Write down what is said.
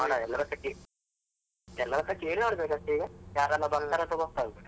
ಅಲಾ ಎಲ್ಲರತ್ರ ಕೇಳಿ ಎಲ್ಲರತ್ರ ಕೇಳಿ ನೋಡ್ಬೇಕು ಅಷ್ಟೆ ಈಗ ಯಾರೆಲ್ಲ ಬರ್ತಾರೆ ಅಂತ ಗೊತ್ತಾಗುದಿಲ್ಲ.